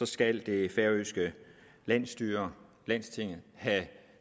skal det færøske landsstyre lagtinget have